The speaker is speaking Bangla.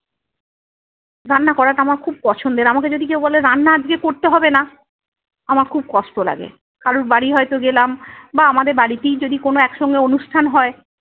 রান্না করাটা আমার খুব পছন্দের। আমাকে যদি কেও বলে রান্না আজকে করতে হবে না, আমার খুব কষ্ট লাগে। কারোর বাড়ি হয়তো গেলাম বা আমাদের বাড়িতেই যদি কোনো একসঙ্গে অনুষ্ঠান হয়-